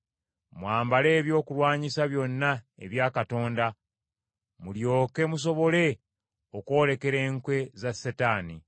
Mwambale ebyokulwanyisa byonna ebya Katonda, mulyoke musobole okwolekera enkwe za Setaani.